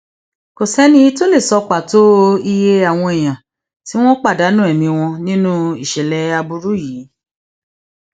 kò sẹni tó lè sọ pàtó iye àwọn èèyàn tí wọn pàdánù ẹmí wọn nínú ìṣẹlẹ aburú yìí